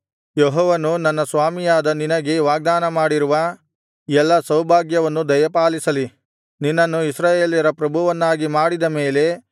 ಯೆಹೋವನು ನನ್ನ ಸ್ವಾಮಿಯಾದ ನಿನಗೆ ವಾಗ್ದಾನಮಾಡಿರುವ ಎಲ್ಲಾ ಸೌಭಾಗ್ಯವನ್ನು ದಯಪಾಲಿಸಲಿ ನಿನ್ನನ್ನು ಇಸ್ರಾಯೇಲ್ಯರ ಪ್ರಭುವನ್ನಾಗಿ ಮಾಡಿದ ಮೇಲೆ